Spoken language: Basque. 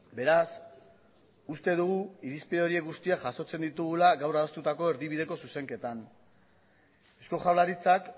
beraz uste dugu irizpide horiek guztiak jasotzen ditugula gaur adostutako erdibideko zuzenketan eusko jaurlaritzak